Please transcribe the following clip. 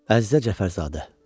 Əzizə Cəfərzadə.